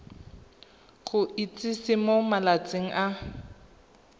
go itsise mo malatsing a